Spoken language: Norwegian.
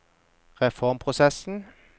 reformprosessen